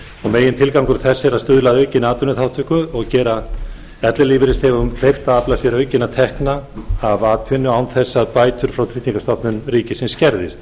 megintilgangur þess er að stuðla að aukinni atvinnuþátttöku og gera ellilífeyrisþegum kleift að afla sér aukinna tekna af atvinnu án þess að bætur frá tryggingastofnun ríkisins skerðist